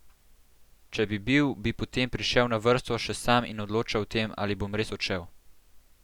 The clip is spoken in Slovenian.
Če bi bil, bi potem prišel na vrsto še sam in odločal o tem, ali bom res odšel.